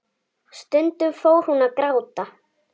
Stundum fór hún að gráta.